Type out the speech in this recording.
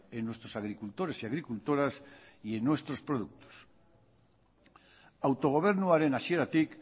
en nuestros agricultores y agricultoras y en nuestros productos autogobernuaren hasieratik